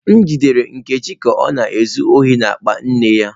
M jidere Nkechi ka ọ na-ezu ohi n'akpa nne ya.